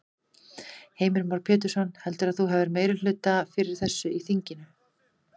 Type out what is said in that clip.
Heimir Már Pétursson: Heldurðu að þú hafi meirihluta fyrir þessu í þinginu?